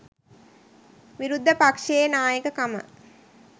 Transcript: විරුද්ධ පක්ෂයේ නායකකම